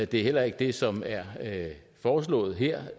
det er heller ikke det som er foreslået her